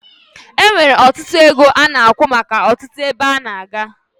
Enwere ọtụtụ ego ole ana akwụ maka ọtụtụ ebe a na-aga